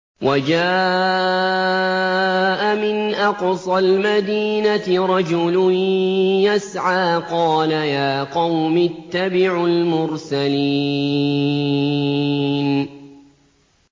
وَجَاءَ مِنْ أَقْصَى الْمَدِينَةِ رَجُلٌ يَسْعَىٰ قَالَ يَا قَوْمِ اتَّبِعُوا الْمُرْسَلِينَ